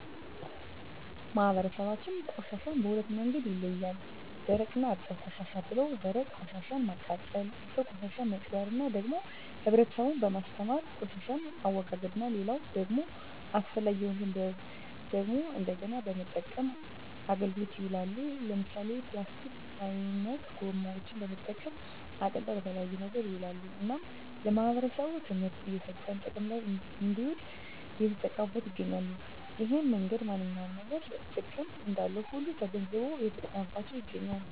ማህበረሰባችን ቆሻሻን በሁለት መንገድ ይለያል ደረቅ እና እርጥብ ቆሻሻ ብለው ደረቅ ቆሻሻን ማቃጠል እርጥብ ቆሻሻን መቅበር እና ደግሞ ህብረተሰቡን በማስተማር የቆሻሻን አወጋገድ እና ሌላው ደግሞ አስፈላጊ የሆኑትን ደግሞ እንደገና በመጠቀም አገልግሎት ይውላሉ ለምሳሌ ፕላስቲክ አይነት ጎማዎችን በመጠቀም አቅልጠው ለተለያየ ነገር ይውላሉ እናም ለማህበረሰቡ ትምህርት እየሰጠን ጥቅም ለይ እንድውል እየተጠቀሙት ይገኛሉ እሄን መንገድ ማንኛውም ነገር ጥቅም እንዳለው ሁሉ ተገንዝቦ እየተጠቀመበት ይገኛል